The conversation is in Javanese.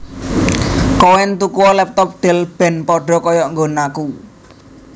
Koen tukuo laptop Dell ben podo koyok nggonanku